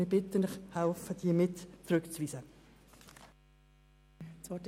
Ich bitte Sie, helfen Sie bei diesen Rückweisungen mit!